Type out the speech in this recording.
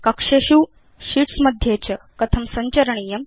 कक्षेषु शीट्स् मध्ये च कथं सञ्चरणीयम्